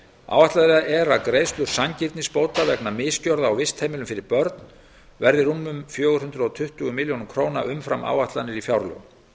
áætlað er að greiðslur sanngirnisbóta vegna misgjörða á vistheimilum fyrir börn verði rúmar fjögur hundruð tuttugu milljónir króna umfram áætlanir í fjárlögum